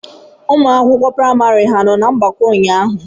Ụmụ akwụkwọ praịmari ha nọ na mgbakọ ụnyaahụ?